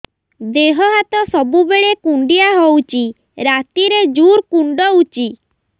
ଦେହ ହାତ ସବୁବେଳେ କୁଣ୍ଡିଆ ହଉଚି ରାତିରେ ଜୁର୍ କୁଣ୍ଡଉଚି